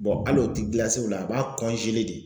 hal'o ti o la a b'a de.